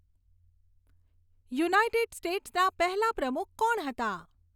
United સ્ટેટ્સના પહેલાં પ્રમુખ કોણ હતા